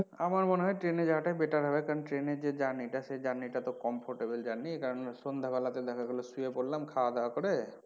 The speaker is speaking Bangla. আমার মনে হয় train এ যাওয়া টাই better হবে কারন এ যে journey টা সেই journey টা তো comfortable journey কারন সন্ধ্যাবেলা তে দেখা গেলো শুয়ে পড়লাম খাওয়া দাওয়া করে,